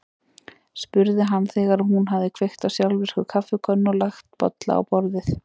spurði hann þegar hún hafði kveikt á sjálfvirku kaffikönnunni og lagt bolla á borðið.